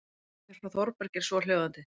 Bréfið frá Þórbergi er svohljóðandi